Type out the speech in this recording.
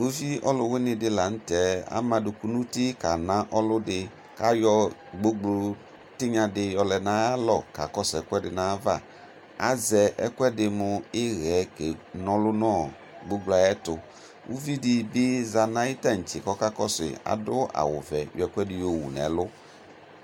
́Ʋvi ɔlʋ wini di la nʋtɛ ama adʋkʋ nʋ ʋtɩ kana ɔlʋdi ayɔ gbogbo tinyadi yɔlɛ nʋ ayu alɔ kakɔsʋ ɛkʋɛddi nʋ ayʋ ava azɛ ɛkʋedi mʋ ixɛ nɔlʋ nʋ gbogblo yɛ ayʋ ɛtʋ ʋvidi bi zanʋ ayʋ tantse kakɔsʋ yi adʋ awʋvɛ yɔ ɛkʋedi yɔwʋ nʋ ɛlʋ